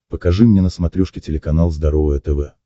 покажи мне на смотрешке телеканал здоровое тв